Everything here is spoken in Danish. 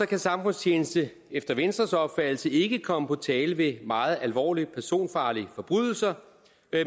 kan samfundstjeneste efter venstres opfattelse ikke komme på tale ved meget alvorlige personfarlige forbrydelser